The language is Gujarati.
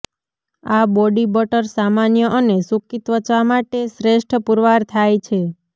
આ બોડી બટર સામાન્ય અને સૂકી ત્વચા માટે શ્રેષ્ઠ પુરવાર થાય છે